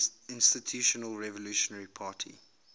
institutional revolutionary party